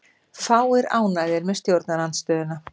Fáir ánægðir með stjórnarandstöðuna